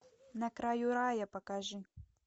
на краю рая покажи